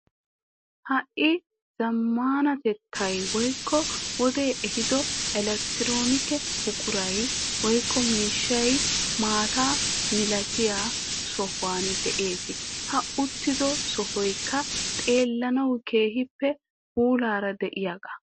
Ha"i zammaanatettay woykko wodee ehiido elekttiroonike buquray woykko miishshay maata milatiya sohuwan de'ees. I uttido sohoykka xeellanawu keehippe puulaara de'iyagaa